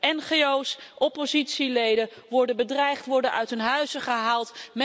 Ngo's, oppositieleden worden bedreigd, worden uit hun huizen gehaald.